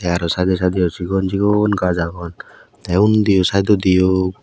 te araw side side yo sigon sigon gaj agon te undiyo sayedodi yo.